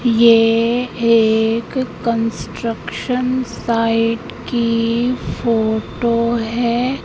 ये एक construction site की फोटो है।